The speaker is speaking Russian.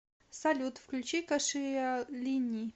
салют включи кашиалини